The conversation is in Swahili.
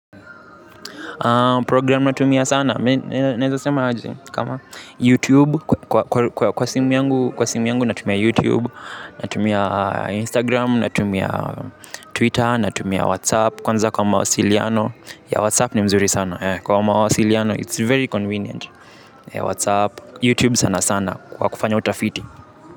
Programu natumia sana, naeza sema aji, kama YouTube, kwa simu yangu natumia YouTube, natumia Instagram, natumia Twitter, natumia WhatsApp, kwanza kwa mawasiliano, ya WhatsApp ni nzuri sana, kwa mawasiliano, it's very convenient WhatsApp, YouTube sana sana, kwa kufanya utafiti.